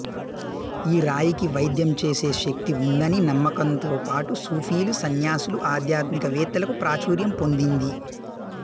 ఈ రాయికి వైద్యం చేసే శక్తి ఉందని నమ్ముకంతోపాటు సూఫీలు సన్యాసులు ఆధ్యాత్మికవేత్తలకు ప్రాచుర్యం పొందింది